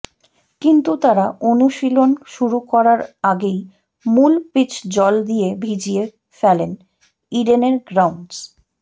কিন্তু তারা অনুশীলন শুরু করার আগেই মূল পিচ জল দিয়ে ভিজিয়ে ফেলেন ইডেনের গ্রাউন্ডস